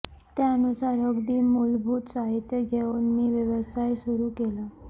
त्यानुसार अगदी मूलभूत साहित्य घेऊन मी व्यवसाय सुरू केला